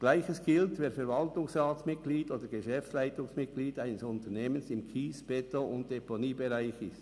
Gleiches gilt, wer Verwaltungsratsmitglied oder Geschäftsleitungsmitglied eines Unternehmens im Kies-, Beton- und Deponiebereich ist.